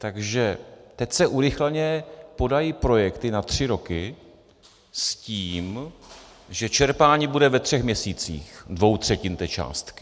Takže teď se urychleně podají projekty na tři roky s tím, že čerpání bude ve třech měsících - dvou třetin té částky.